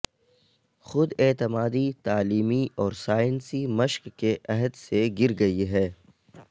خود اعتمادی تعلیمی اور سائنسی مشق کے عہد سے گر گئی ہے